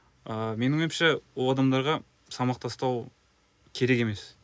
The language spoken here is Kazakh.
ыыы менің ойымша ол адамдарға салмақ тастау керек емес